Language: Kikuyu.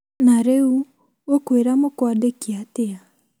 Na rĩu ũkwĩra mũkwandĩki atĩa?